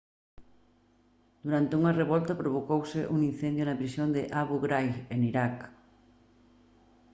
durante unha revolta provocouse un incendio na prisión de abu ghraib en iraq